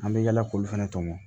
An bɛ yala k'olu fana tɔmɔ